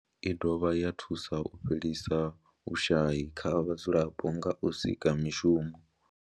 I dovha ya thusa u fhelisa vhushayi kha vhadzulapo nga u sika mishumo.